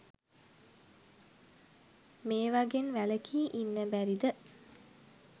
මේවගෙන් වැලකී ඉන්න බැරිද?